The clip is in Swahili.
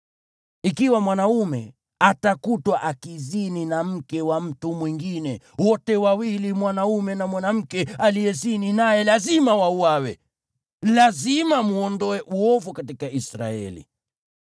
Ikiwa mwanaume atakutwa akizini na mke wa mtu mwingine, wote wawili, mwanaume na mwanamke aliyezini naye, lazima wauawe. Lazima mwondoe uovu katika Israeli.